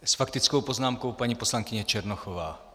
S faktickou poznámkou paní poslankyně Černochová.